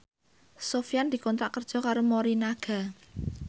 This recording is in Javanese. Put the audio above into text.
Sofyan dikontrak kerja karo Morinaga